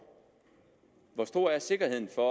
hvor stor er sikkerheden for